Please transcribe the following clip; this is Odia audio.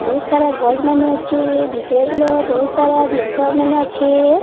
ବହୁତ୍ ସାରା ଗଛମାନେ ଅଛି ଭିତରେ ବହୁତ୍ ସାରା ଜିନିଷ ମାନେ ଅଛି।